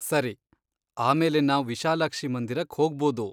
ಸರಿ, ಆಮೇಲೆ ನಾವ್ ವಿಶಾಲಾಕ್ಷಿ ಮಂದಿರಕ್ ಹೋಗ್ಬೋದು.